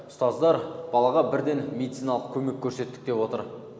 ұстаздар балаға бірден медициналық көмек көрсеттік деп отыр